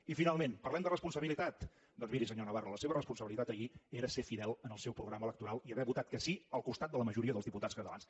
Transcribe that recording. i finalment parlem de responsabilitat doncs miri senyor navarro la seva responsabilitat ahir era ser fidel al seu programa electoral i haver votat que sí al costat de la majoria dels diputats catalans